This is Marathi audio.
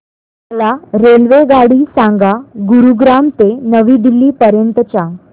मला रेल्वेगाडी सांगा गुरुग्राम ते नवी दिल्ली पर्यंत च्या